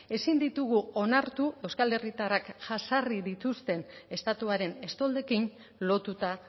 ezin ditugu onartu euskal herritarrak jazarri dituzte estatuaren estoldekin lotuta